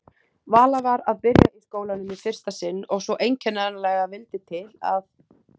Vala var að byrja í skólanum í fyrsta sinn og svo einkennilega vildi til að